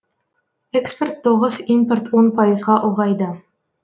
экспорт тоғыз импорт он пайызға ұлғайды